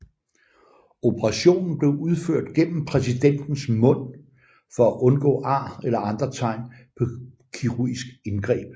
Operationen blev udført gennem præsidentens mund for at undgå ar eller andre tegn på kirurgisk indgreb